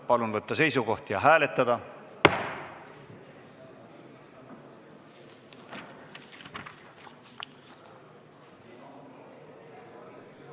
Palun võtta seisukoht ja hääletada!